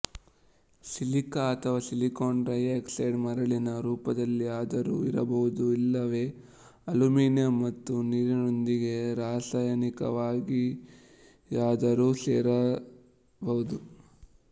silica ಅಥವಾ silicon dioxide ಮರಳಿನ ರೂಪದಲ್ಲಿಯಾದರೂ ಇರಬಹುದು ಇಲ್ಲವೆ ಅಲ್ಯುಮಿನಿಯಂ ಮತ್ತು ನೀರಿನೊಂದಿಗೆ ರಾಸಾಯನಿಕವಾಗಿಯಾದರೂ ಸೇರಿರಬಹುದು